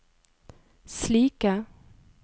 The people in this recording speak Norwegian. slike